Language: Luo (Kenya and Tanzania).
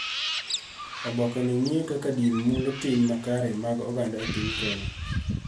Oboke ni ng�iyo kaka din mulo tim makare mag oganda e piny Kenya.